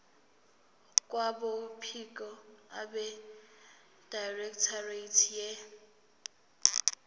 kwabophiko abedirectorate ye